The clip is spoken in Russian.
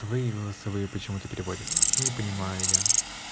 твои голосовые почему-то переводят не понимаю я